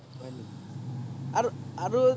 আৰু আৰু